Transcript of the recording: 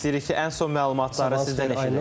İstəyirik ki, ən son məlumatları sizdən eşidək.